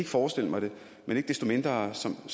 forestille mig det men ikke desto mindre som